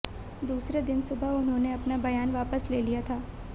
दूसरे दिन सुबह उन्होंने अपना बयान वापस ले लिया था